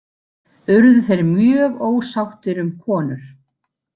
Urðu þeir mjög ósáttir um konur.